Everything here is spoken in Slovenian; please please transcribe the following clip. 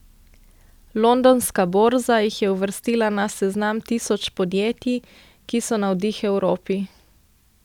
Londonska borza jih je uvrstila na seznam tisoč podjetij, ki so navdih Evropi.